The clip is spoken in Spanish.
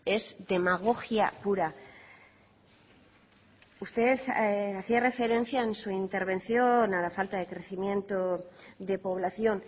es demagogia pura usted hacía referencia en su intervención a la falta de crecimiento de población